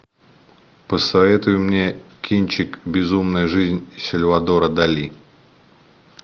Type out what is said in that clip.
посоветуй мне кинчик безумная жизнь сальвадора дали